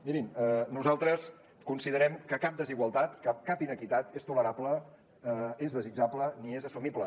mirin nosaltres considerem que cap desigualtat que cap inequitat és tolerable és desitjable ni és assumible